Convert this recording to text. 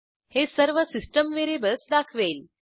हे सर्व system variables दाखवेल